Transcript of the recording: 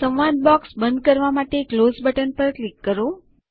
સંવાદ બૉક્સમાં બંધ કરવા માટે ક્લોઝ બટન પર ક્લિક કરો